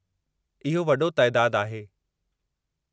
इहो वडो तइदादु आहे!